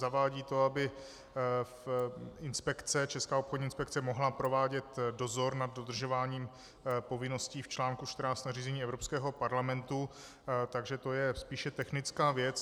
Zavádí to, aby Česká obchodní inspekce mohla provádět dozor nad dodržováním povinností v článku 14 nařízení Evropského parlamentu, takže to je spíše technická věc.